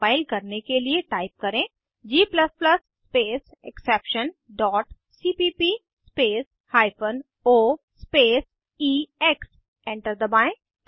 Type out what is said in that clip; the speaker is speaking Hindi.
कम्पाइल करने के लिए टाइप करें g space exception dot cpp space hyphen o space ex enter दबाएं